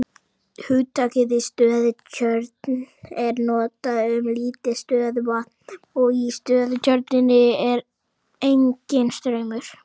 Hugtakið stöðutjörn er notað um lítið stöðuvatn og í stöðutjörninni er enginn straumur.